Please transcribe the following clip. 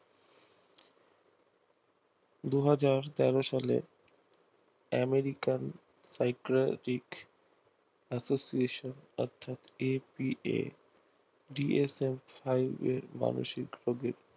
দুই হাজার তেরো সালে আমেরিকান psychological association অর্থাৎ apa মানসিক রোগীর